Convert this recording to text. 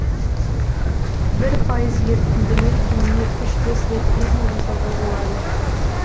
бір пайыз ерітіндімен күніне үш бес рет клизма жасауға болады